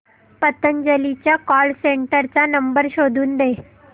पतंजली च्या call centre चा number शोधून दे